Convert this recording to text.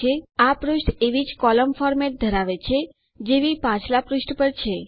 આ પુષ્ઠ એવી જ કોલમ ફોર્મેટ ધરાવે છે જેવી પાછલા પુષ્ઠ પર છે